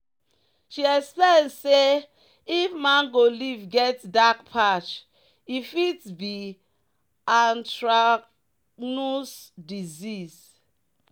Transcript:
"she explain say if mango leaf get dark patch e fit be anthracnose disease."